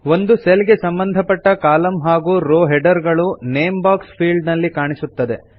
ಒಂದು ಸೆಲ್ ಗೆ ಸಂಬಂಧಪಟ್ಟ ಕಾಲಂ ಹಾಗೂ ರೋ ಹೆಡರ್ ಗಳು ನೇಮ್ ಬಾಕ್ಸ್ ಫೀಲ್ಡ್ ನಲ್ಲಿ ಕಾಣಿಸುತ್ತದೆ